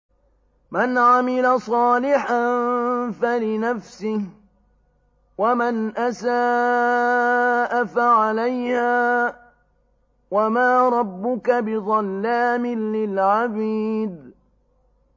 مَّنْ عَمِلَ صَالِحًا فَلِنَفْسِهِ ۖ وَمَنْ أَسَاءَ فَعَلَيْهَا ۗ وَمَا رَبُّكَ بِظَلَّامٍ لِّلْعَبِيدِ